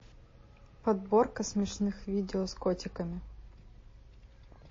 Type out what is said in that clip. подборка смешных видео с котиками